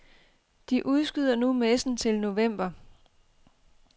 De udskyder nu messen til november.